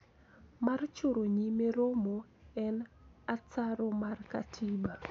Mar choro nyime romo en ataro mar katiba